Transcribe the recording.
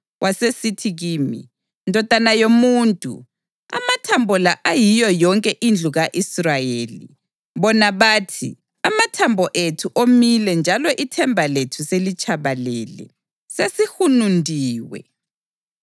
Wasesithi kimi: “Ndodana yomuntu, amathambo la ayiyo yonke indlu ka-Israyeli. Bona bathi, ‘Amathambo ethu omile njalo ithemba lethu selitshabalele; sesihunundiwe.’